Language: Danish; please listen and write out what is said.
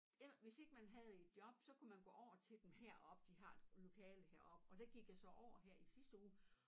Ja hvis ikke man havde et job så kunne man gå over til dem heroppe de har et lokale heroppe og der gik jeg så over her i sidste uge